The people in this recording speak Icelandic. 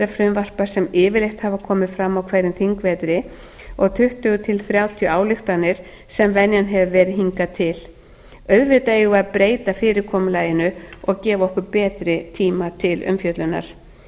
frumvarpa sem yfirleitt hafa komið fram á hverjum þingvetri og tuttugu til þrjátíu ályktanir sem venjan hefur verið hingað til auðvitað eigum við að breyta fyrirkomulaginu og gefa okkur betri tíma til umfjöllunar virðulegi